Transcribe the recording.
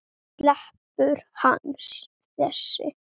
Sleppur hann þessi?